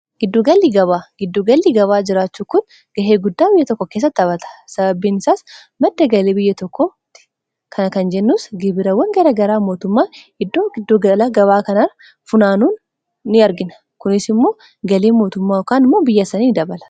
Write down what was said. giddugalli gabaa jiraachuu kun ga'ee guddaa biyya tokko keessatti taphata sababiin isaas madda galii biyya tokkotti kana kan jennuus gibirawwan gara garaa mootummaa iddoo giddugala gabaa kanaa funaanuun in argina. kunis immoo galii mootummaa kaan immoo biyya sanii dabala.